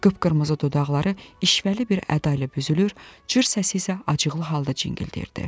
Qıpqırmızı dodaqları işvəli bir əda ilə büzülür, cır səsi isə acıqlı halda cingildəyirdi.